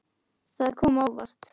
Það kom á óvart.